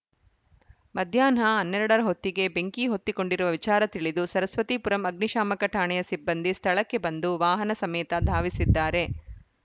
ಮಧ್ಯಾಹ್ನ ಹನ್ನೆರಡ ರ ಹೊತ್ತಿಗೆ ಬೆಂಕಿ ಹೊತ್ತಿಕೊಂಡಿರುವ ವಿಚಾರ ತಿಳಿದು ಸರಸ್ವತಿಪುರಂ ಅಗ್ನಿಶಾಮಕ ಠಾಣೆಯ ಸಿಬ್ಬಂದಿ ಸ್ಥಳಕ್ಕೆ ಬಂದು ವಾಹನ ಸಮೇತ ಧಾವಿಸಿದ್ದಾರೆ